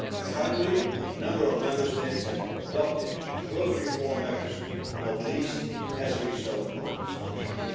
Finally, a number of Member States have adopted further reform measures, not least as a result of these pressures.